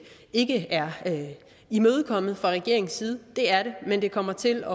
ikke er imødekommet fra regeringens side det er den men det kommer til